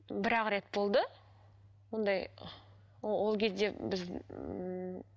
бірақ рет болды ондай ол кезде біз ммм